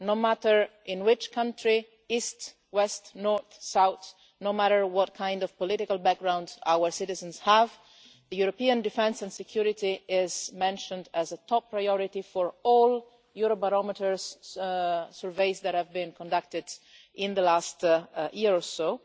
No matter in which country east, west, north, south and no matter what kind of political background our citizens have, European defence and security is mentioned as a top priority in all the Eurobarometer surveys that have been conducted in the last year or so.